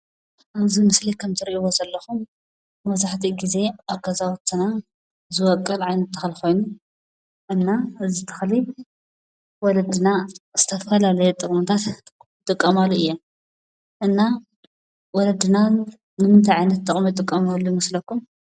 ኣብዚ ምስሊ ከምእትሪእዎ ዘለኹም መብዛሕትኡ ግዜ ኣብ ገዛውትና ዝበቊል ዓይነት ተኽሊ ኮይኑ እና እዚ ተኽሊ ወለድና ዝተፈላለየ ጥቕምታት ይጥቀማሉ እየን፡፡ እና ወለድና ንምንታይ ዓይነት ጥቕሚ ዝጥቀማሉ ይመስለኩም?